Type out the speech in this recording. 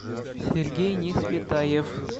сергей несветаев